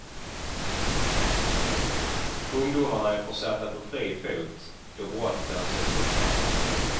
Ungdomarna är försatta på fri fot då brottet anses uppklarat.